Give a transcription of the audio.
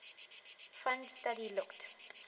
fund study looked